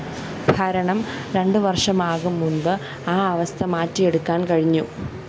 ഭരണം രണ്ടു വര്‍ഷമാകും മുന്‍പ് ആ അവസ്ഥ മാറ്റിയെടുക്കാന്‍ കഴിഞ്ഞു